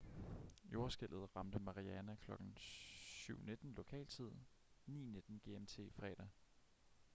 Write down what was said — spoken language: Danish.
jordskælvet ramte mariana kl. 07:19 lokal tid 09:19 gmt fredag